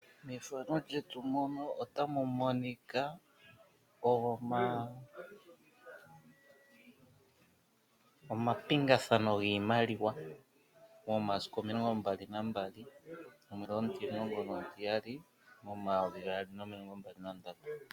Mefano lyetu mono otamu monika omapingathano giimaliwa momasiku omilongo mbali nambali omwedhi omutimulongo nomutiyali omayovi gaali nomilongo mbali nandatu.